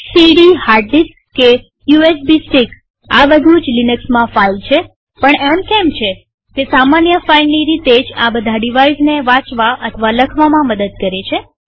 CD hard disk કે USB stick આ બધું જ લિનક્સમાં ફાઈલ છેપણ એમ કેમ છેતે સામાન્ય ફાઈલની રીતે જ આ બધા ડિવાઇઝને વાચવા અને લખવામાં મદદ કરે છે